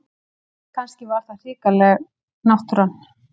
Kannski var það hrikaleg náttúran.